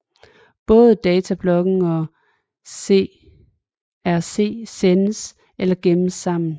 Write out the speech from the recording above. Både datablokken og CRC sendes eller gemmes sammen